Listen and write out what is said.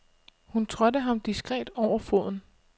Hun trådte ham diskret over foden.